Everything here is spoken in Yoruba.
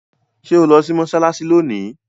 ṣe o tí lò sí Mossalassi lóni?